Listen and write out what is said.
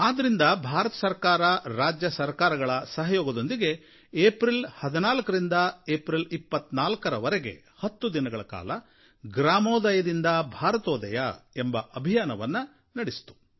ಆದ್ದರಿಂದ ಭಾರತ ಸರಕಾರ ರಾಜ್ಯ ಸರಕಾರಗಳ ಸಹಯೋಗದೊಂದಿಗೆ ಏಪ್ರಿಲ್ 14ರಿಂದ ಏಪ್ರಿಲ್ 24ರ ವರೆಗೆ ಹತ್ತು ದಿನಗಳ ಕಾಲ ಗ್ರಾಮೋದಯದಿಂದ ಭಾರತೋದಯ ಎಂಬ ಅಭಿಯಾನವನ್ನು ನಡೆಸಿತು